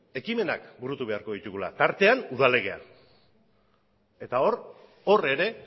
ekimenak burutu beharko ditugula tartean udal legea hor ere